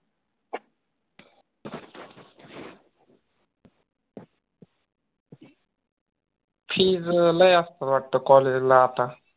fees लय असत वाटत college ला आता